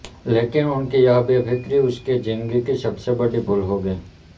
लेकिन उनकी यही बेफिक्री उसके जिंदगी की सबसे बड़ी भूल हो गई